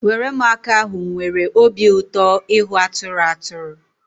Weremụaka ahụ nwere obi ụtọ ịhụ atụrụ atụrụ